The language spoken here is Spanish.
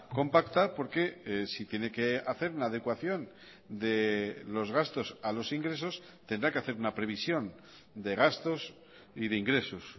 compacta porque si tiene que hacer una adecuación de los gastos a los ingresos tendrá que hacer una previsión de gastos y de ingresos